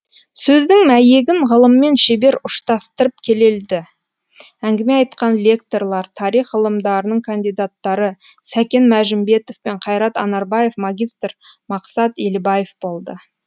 сөздің мәйегін ғылыммен шебер ұштастырып келелді әңгіме айтқан лекторлар тарих ғылымдарының кандидаттары сәкен мәжімбетов пен қайрат анарбаев магистр мақсат елібаев болды